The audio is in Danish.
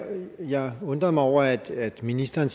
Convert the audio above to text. jeg undrede mig over at ministeren